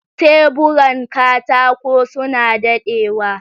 Teburan katako suna daɗewa.